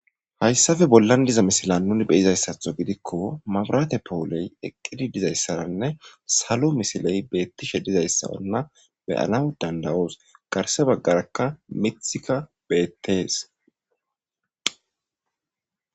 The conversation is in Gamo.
Hayssafe bollan diza misila nuni beyizayssatho gidikko mabrate powoley eqqidi dizayssaranne salo misiley beettishe dizayssa onna beyana dandawoos garse baggarakka mithika beettees.